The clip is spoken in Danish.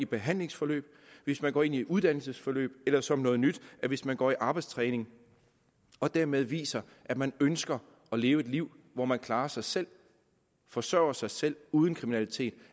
behandlingsforløb hvis man går ind i et uddannelsesforløb eller som noget nyt hvis man går i arbejdstræning og dermed viser at man ønsker at leve et liv hvor man klarer sig selv og forsørger sig selv uden kriminalitet